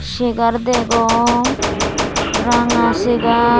segar degong ranga segar .